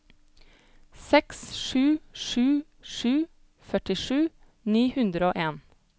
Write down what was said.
seks sju sju sju førtisju ni hundre og en